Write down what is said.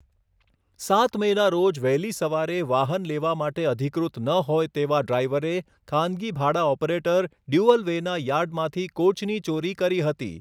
સાત મેના રોજ વહેલી સવારે વાહન લેવા માટે અધિકૃત ન હોય તેવા ડ્રાઇવરે ખાનગી ભાડા ઓપરેટર ડ્યુઅલવેના યાર્ડમાંથી કોચની ચોરી કરી હતી.